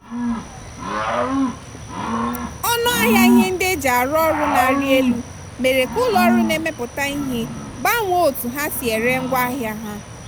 ọnụahịa ihe ndị e ji arụ ọrụ na-arị elu mere ka ụlọ ọrụ na-emepụta ihe gbanwee otu ha si ere ngwaahịa ha.